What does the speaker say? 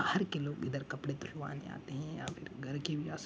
घर के लोग इधर कपड़े धुलवाने हैं या फिर घर के भी आ स --